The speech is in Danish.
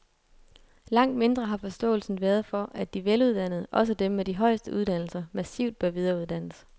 Langt mindre har forståelsen været for, at de veluddannede, også dem med de højeste uddannelser, massivt bør videreuddannes.